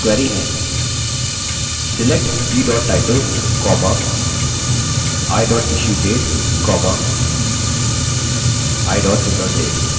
select b title i issuedate i returndate